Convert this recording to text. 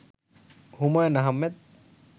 Humayun Ahmed